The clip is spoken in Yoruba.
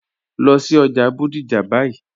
Lọ sí ọjà Bodija báyì.